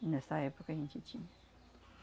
E nessa época a gente tinha.